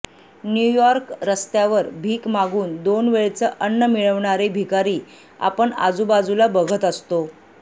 New York रस्त्यावर भीक मागून दोन वेळचं अन्न मिळवणारे भिकारी आपण आजूबाजूला बघत असतो